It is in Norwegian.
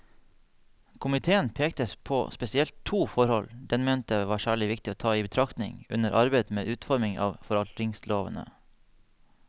Komiteen pekte på spesielt to forhold den mente var særlig viktig å ta i betraktning under arbeidet med utformingen av forvaltningslovene.